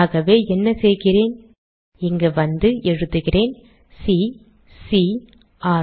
ஆகவே என்ன செய்கிறேன் இங்கு வந்து எழுதுகிறேன் சி சி ர்